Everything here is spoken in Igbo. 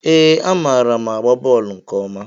Ee, amaara m agba bọọlụ nke ọma